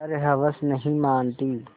पर हवस नहीं मानती